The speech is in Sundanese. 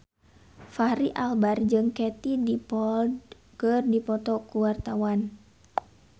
Fachri Albar jeung Katie Dippold keur dipoto ku wartawan